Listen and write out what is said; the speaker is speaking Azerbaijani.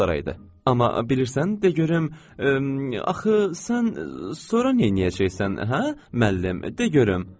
Amma bilirsən, de görüm, axı sən sonra neyləyəcəksən, hə müəllim, de görüm.